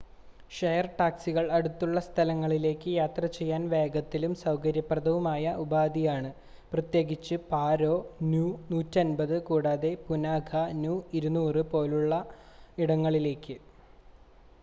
share‍ ടാക്സികള്‍ അടുത്തുള്ള സ്ഥലങ്ങളിലേയ്ക്ക് യാത്രചെയ്യാന്‍ വേഗത്തിലും സൌകര്യപ്രദവുമായ ഉപാധിയാണ്‌ പ്രത്യേകിച്ച് പാരോ നു 150 കൂടാതെ പുനാഖ നു 200 പോലുള്ള ഇടങ്ങളിലേയ്ക്ക്